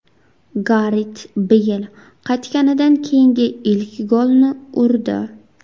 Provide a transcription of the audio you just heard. Garet Beyl qaytganidan keyingi ilk golni urdi.